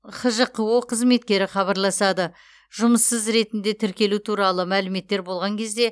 хжқо қызметкері хабарласады жұмыссыз ретінде тіркелу туралы мәліметтер болған кезде